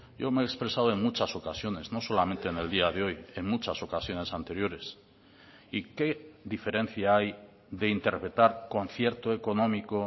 yo me he expresado en muchas ocasiones no solamente en el día de hoy en muchas ocasiones anteriores y qué diferencia hay de interpretar concierto económico